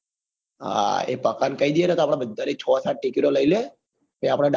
હા એ પકા ને કઈ દઈએ ને તો આપડા બધા ની છ સાત ticket ઓ લઇ લે હા